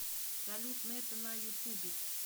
салют нетта на ютубе